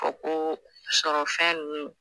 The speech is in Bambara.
A ko sɔrɔfɛn ninnu